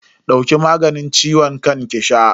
Dauki maganin ciwon kan ki sha.